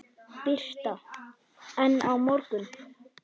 Birta: En á morgun?